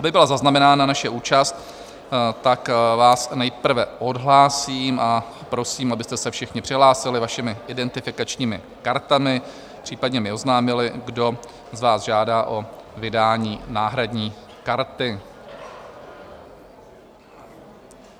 Aby byla zaznamenána naše účast, tak vás nejprve odhlásím a prosím, abyste se všichni přihlásili vašimi identifikačními kartami, případně mi oznámili, kdo z vás žádá o vydání náhradní karty.